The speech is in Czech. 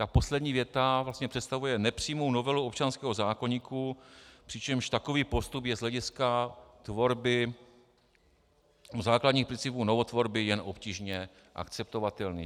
Ta poslední věta vlastně představuje nepřímou novelu občanského zákoníku, přičemž takový postup je z hlediska tvorby základních principů novotvorby jen obtížně akceptovatelný.